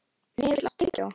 Hnefill, áttu tyggjó?